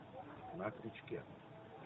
на крючке